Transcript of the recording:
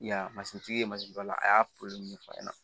I y'a ye masintigi ye mansi dɔ la a y'a ɲɛfɔ a ɲɛna